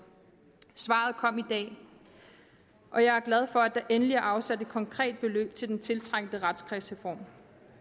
svaret kom i dag og jeg er glad for at der endelig er afsat et konkret beløb til den tiltrængte retskredsreform